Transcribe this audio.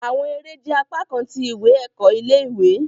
Awọn ere jẹ apakan ti iwe-ẹkọ ile-iwe